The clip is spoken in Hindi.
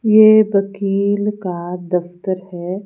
ये वकील का दफ्तर है।